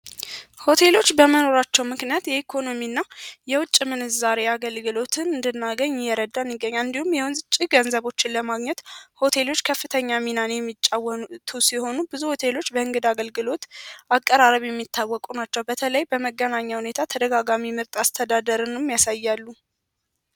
ሆቴሎች በመኖራቸው ምክንያት የገቢና የውጭ ምንዛሬ እንድናገኝ ይረዳል ከፍተኛ ሚና የሚጫወቱ ሲሆኑ ብዙዎቹ ሌሎች በእንግዳ አገልግሎት አቀራረብ የሚታወቁ ናቸው በተለይ በመገናኛ ሁኔታ ተደጋጋሚ የመጣ አስተዳደርንም ያሳያሉ።